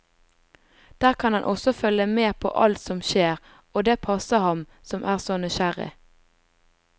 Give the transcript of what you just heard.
Der kan han også følge med på alt som skjer, og det passer ham, som er så nysgjerrig.